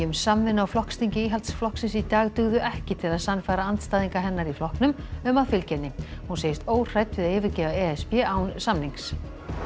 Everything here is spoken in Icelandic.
um samvinnu á flokksþingi Íhaldsflokksins í dag dugðu ekki til að sannfæra andstæðinga hennar í flokknum um að fylgja henni hún segist óhrædd við að yfirgefa e s b án samnings